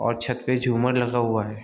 और छत पे झूमर लगा हुआ है।